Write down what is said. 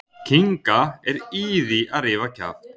kýs að svara þessu ekki Hver var átrúnaðargoð þitt á yngri árum?